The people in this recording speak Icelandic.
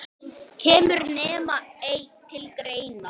Kemur nema einn til greina?